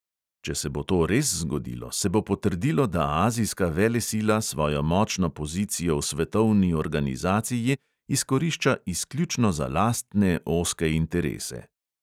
Če se bo to res zgodilo, se bo potrdilo, da azijska velesila svojo močno pozicijo v svetovni organizaciji izkorišča izključno za lastne ozke interese.